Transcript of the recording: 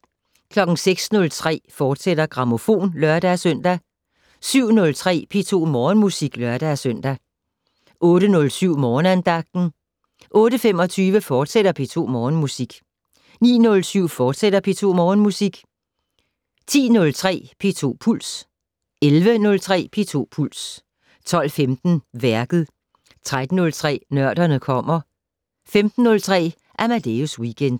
06:03: Grammofon, fortsat (lør-søn) 07:03: P2 Morgenmusik (lør-søn) 08:07: Morgenandagten 08:25: P2 Morgenmusik, fortsat 09:07: P2 Morgenmusik, fortsat 10:03: P2 Puls 11:03: P2 Puls 12:15: Værket 13:03: Nørderne kommer 15:03: Amadeus Weekend